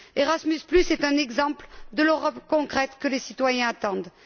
Erasmus est un exemple de l'Europe concrète que les citoyens attendent.